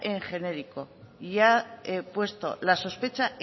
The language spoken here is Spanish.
en genérico y ha puesto la sospecha